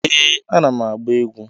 Ee, ana m agba egwu.